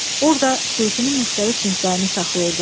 Orda suitinin müxtəlif cinslərini saxlayırdılar.